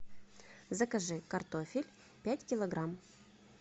закажи картофель пять килограмм